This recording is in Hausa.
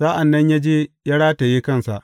Sa’an nan ya je ya rataye kansa.